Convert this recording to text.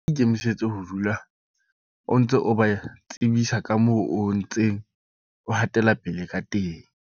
Ikemisetse ho dula o ntse o ba tsebisa ka moo o ntseng o hatela pele ka teng.